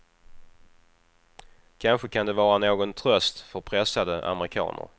Kanske kan den vara någon tröst för pressade amerikaner.